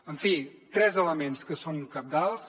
en fi tres elements que són cabdals